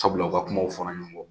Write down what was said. Sabula u ka kumaw fɔra ɲɔn gɔ